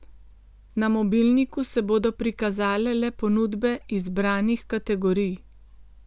Na mobilniku se bodo prikazale le ponudbe izbranih kategorij.